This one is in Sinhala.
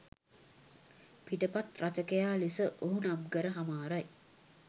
පිටපත් රචකයා ලෙස ඔහු නම්කර හමාරයි.